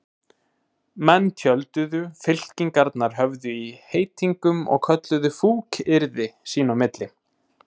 Menn tjölduðu, fylkingarnar höfðu í heitingum og kölluðu fúkyrði sín á milli.